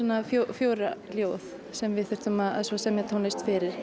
fjögur ljóð sem við þurftum að semja tónlist fyrir